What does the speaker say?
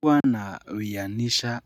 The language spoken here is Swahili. Hua nawianisha